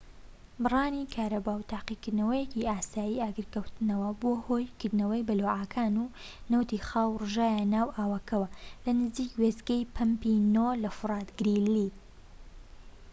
بڕانی کارەبا و تاقیکردنەوەیەکی ئاسایی ئاگرکەوتنەوە بووە هۆی کردنەوەی بەلوعەکان و نەوتی خاو ڕژایە ناو ئاوەکەوە لە نزیک وێستگەی پەمپی ٩ لە فۆرت گریلی